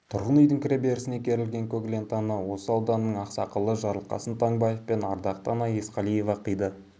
тұрғын үйдің кіреберісіне керілген көк лентаны осы ауданның ақсақалы жарылқасын таңбаев пен ардақты ана есқалиева қиды